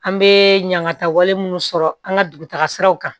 An bɛ ɲagataw munnu sɔrɔ an ka dugutagasiw kan